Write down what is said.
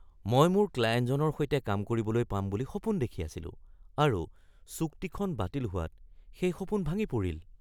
মই মোৰ ক্লায়েণ্টজনৰ সৈতে কাম কৰিবলৈ পাম বুলি সপোন দেখি আছিলোঁ আৰু চুক্তিখন বাতিল হোৱাত সেই সপোন ভাঙি পৰিল।